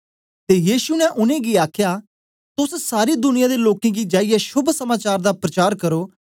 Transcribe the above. ते यीशु ने उनेंगी आखया तोस सारी दुनिया दे लोकें गी जाईयै शोभ समाचार दा प्रचार करो